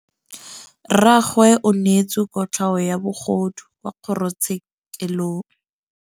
Rragwe o neetswe kotlhaô ya bogodu kwa kgoro tshêkêlông.